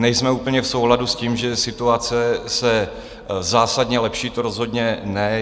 Nejsme úplně v souladu s tím, že situace se zásadně lepší, to rozhodně ne.